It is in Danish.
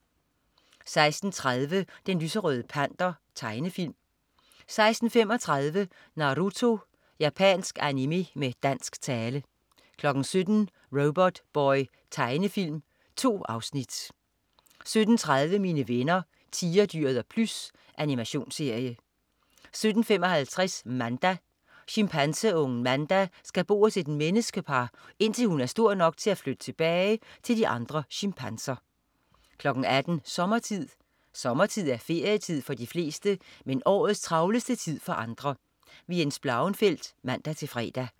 16.30 Den lyserøde Panter. Tegnefilm 16.35 Naruto. Japansk animé med dansk tale 17.00 Robotboy. Tegnefilm. 2 afsnit 17.30 Mine venner Tigerdyret og Plys. Animationsserie 17.55 Manda. Chimpanseungen Manda skal bo hos et menneskepar, indtil hun er stor nok til at flytte tilbage til de andre chimpanser 18.00 Sommertid. Sommertid er ferietid for de fleste, men årets travleste tid for andre. Jens Blauenfeldt (man-fre)